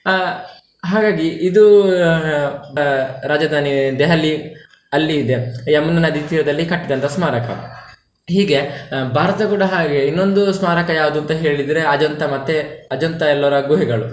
ಆಹ್ ಹಾಗಾಗಿ ಇದೂ ಆಹ್ ರಾಜಧಾನಿ ದೆಹಲಿ ಅಲ್ಲಿ ಇದೆ, ಯಮುನಾ ನದಿ ತೀರದಲ್ಲಿ ಕಟ್ಟಿದಂತಹ ಸ್ಮಾರಕ. ಹೀಗೆ ಭಾರತ ಕೂಡ ಹಾಗೆ ಇನ್ನೊಂದು ಸ್ಮಾರಕ ಯಾವ್ದು ಅಂತ ಹೇಳಿದ್ರೆ ಅಜಂತ ಮತ್ತೆ ಅಜಂತ ಎಲ್ಲೋರಾ ಗುಹೆಗಳು.